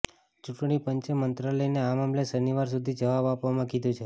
ચુંટણી પંચે મંત્રાલયને આ મામલે શનિવાર સુધી જવાબ આપવામાં કીધું છે